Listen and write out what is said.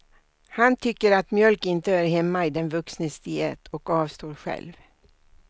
Han tycker att mjölk inte hör hemma i den vuxnes diet och avstår själv.